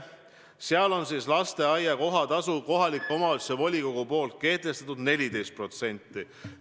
Seal on lasteaia kohatasuks kohaliku omavalitsuse volikogu kehtestatud 14% palga alammäärast.